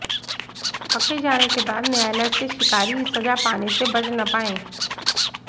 पकड़े जाने के बाद न्यायालय से शिकारी सजा पाने से बच न पाएं